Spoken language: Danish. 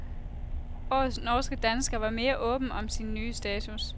Årets norske dansker var mere åben om sin nye status.